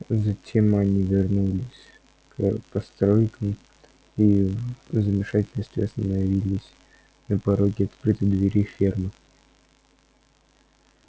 затем они вернулись к постройкам и в замешательстве остановились на пороге открытой двери фермы